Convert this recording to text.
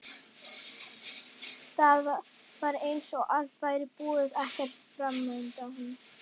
Það var eins og allt væri búið, ekkert framundan.